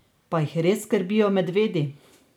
Pa jih res skrbijo medvedi?